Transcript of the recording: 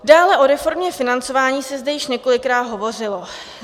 Dále o reformě financování se zde již několikrát hovořilo.